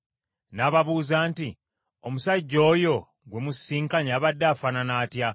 N’ababuuza nti, “Omusajja oyo gwe musisinkanye abadde afaanana atya?”